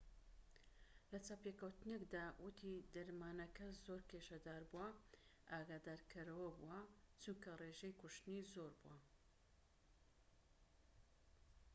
لە چاوپێکەوتنێکدا وتی دەرمانەکە زۆر کێشەداربووە و ئاگادارکەرەوەبووە چونکە ڕێژەی کوشتنی زۆربووە